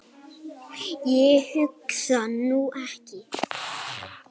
Ég hugsa nú ekki.